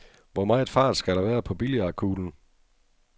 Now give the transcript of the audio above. Hvor meget fart skal der være på billiardkuglen?